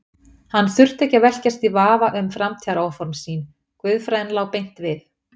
Hann þurfti ekki að velkjast í vafa um framtíðaráform sín, guðfræðin lá beint við.